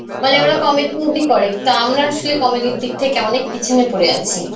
মানে ওরা comedy movie করে, তা আমরা আসলে comedy র দিকে থেকে অনেক পিছনে পড়ে আছি.